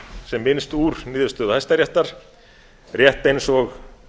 sem minnst úr niðurstöðu hæstaréttar rétt eins og